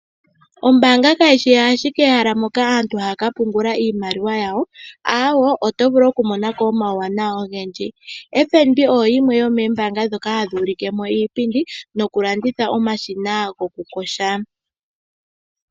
Ombaanga kayishi ashike ahala moka aantu haya kapungula iimaliwa yawo ,aawe otovulu oku monako omawuwanawa ogendji. FNB oyo yimwe yomoombanga ndhoka hadhi ulikemo iipindi noku landitha omashina ngoka gokuyoga.